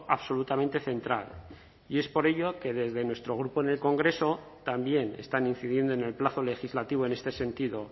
absolutamente central y es por ello que desde nuestro grupo en el congreso también están incidiendo en el plazo legislativo en este sentido